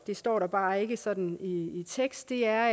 det står der bare ikke sådan i i teksten er